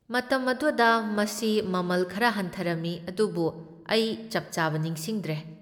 ꯃꯇꯝ ꯑꯗꯨꯗ ꯃꯁꯤ ꯃꯃꯜ ꯈꯔ ꯍꯟꯊꯔꯝꯃꯤ, ꯑꯗꯨꯕꯨ ꯑꯩ ꯆꯞ ꯆꯥꯕ ꯅꯤꯡꯁꯤꯡꯗ꯭ꯔꯦ꯫